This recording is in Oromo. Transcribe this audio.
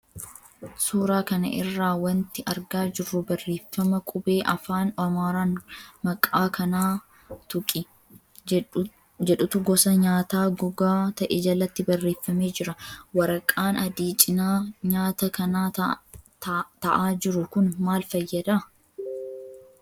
Suuraa kana irraa wanti argaa jirru barreeffama qubee afaan Amaaraan ''maqaa kanaa tuqi'' jedhutu gosa nyaataa gogaa ta'e jalatti barreeffamee jira. Waraqaan adii cina nyaata kanaa ta'aa jiru kun maal fayyada?